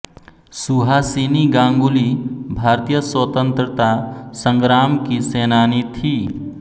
सुहासिनी गांगुली भारतीय स्वतंत्रता संग्राम की सेनानी थी